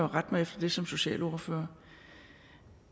rette mig efter det som socialordfører